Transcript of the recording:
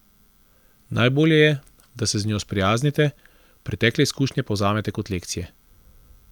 Najbolje je, da se z njo sprijaznite, pretekle izkušnje pa vzamete kot lekcije.